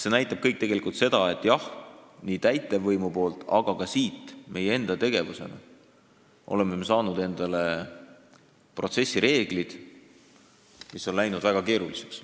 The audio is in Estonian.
See näitab tegelikult seda, et nii täitevvõimu kui ka meie enda tegevuse tulemusena on loodud protsessireeglid, mis on läinud väga keeruliseks.